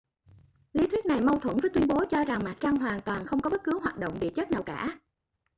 lý thuyết này mâu thuẫn với tuyên bố cho rằng mặt trăng hoàn toàn không có bất cứ hoạt động địa chất nào cả